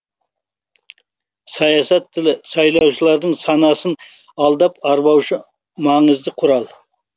саясат тілі сайлаушылардың санасын алдап арбаушы маңызды құрал